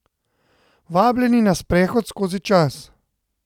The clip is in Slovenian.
Vabljeni na sprehod skozi čas.